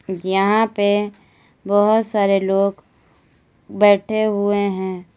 यहां पे बहोत सारे लोग बैठे हुए हैं।